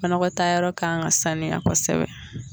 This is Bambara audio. Banagɔtaa yɔrɔ kan ka sanuya kosɛbɛ.